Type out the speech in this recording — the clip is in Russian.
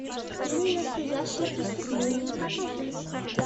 фильм настоящее преступление покажи